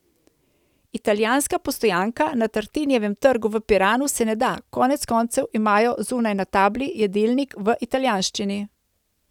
Italijanska postojanka na Tartinijevem trgu v Piranu se ne da, konec koncev imajo zunaj na tabli jedilnik v italijanščini.